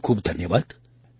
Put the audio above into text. ખૂબખૂબ ધન્યવાદ